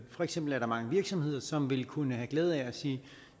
for eksempel er der mange virksomheder som vil kunne have glæde af at sige